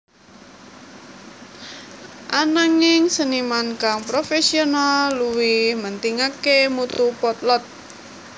Ananging seniman kang profesional luwih mentingaké mutu potlot